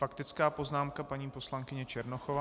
Faktická poznámka paní poslankyně Černochová.